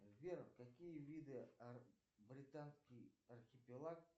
сбер какие виды британский архипелаг